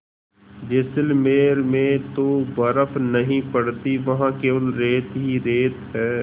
जैसलमेर में तो बर्फ़ नहीं पड़ती वहाँ केवल रेत ही रेत है